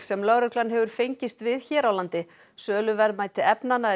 sem lögreglan hefur fengist við hér á landi verðmæti efnanna